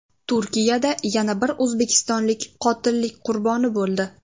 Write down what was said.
Turkiyada yana bir o‘zbekistonlik qotillik qurboni bo‘ldi.